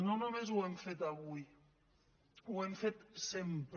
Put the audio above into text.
no només ho hem fet avui ho hem fet sempre